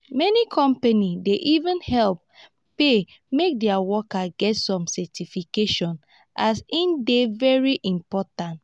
many companies dey even help pay make their workers get some certification as e dey very important.